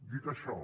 dit això